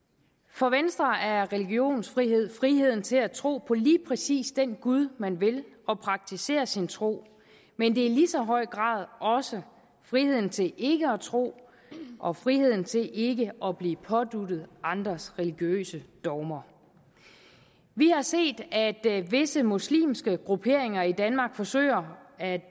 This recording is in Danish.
for venstre er religionsfrihed friheden til at tro på lige præcis den gud man vil og praktisere sin tro men det er i lige så høj grad også friheden til ikke at tro og friheden til ikke at blive påduttet andres religiøse dogmer vi har set at visse muslimske grupperinger i danmark forsøger at